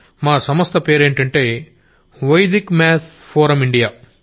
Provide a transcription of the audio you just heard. మా సంస్థ పేరేంటంటే వైదిక్ మ్యాథ్స్ ఫోరమ్ ఇండియా